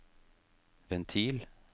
ventil